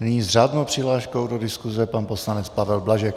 Nyní s řádnou přihláškou do diskuse pan poslanec Pavel Blažek.